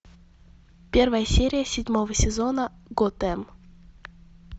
первая серия седьмого сезона готэм